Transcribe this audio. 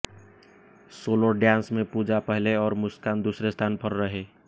solo dance में पूजा पहले और मुस्कान दूसरे स्थान पर रहे